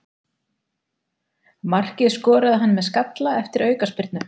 Markið skoraði hann með skalla eftir aukaspyrnu.